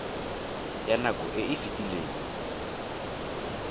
ya nako e e fetileng